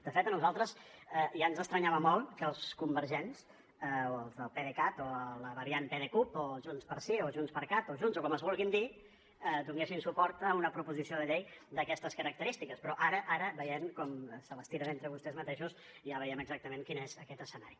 de fet a nosaltres ja ens estranyava molt que els convergents o els del pdecat o la variant pdecup o junts pel sí o junts per cat o junts o com es vulguin dir donessin suport a una proposició de llei d’aquestes característiques però ara ara veient com se les tiren entre vostès mateixos ja veiem exactament quin és aquest escenari